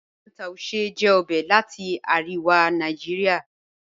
Miyan Tuashe jẹ ọbẹ̀ lati Aríwà Nàìjíríà.